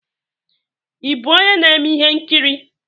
Ị bụ onye na-eme ihe nkiri?